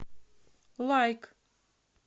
лайк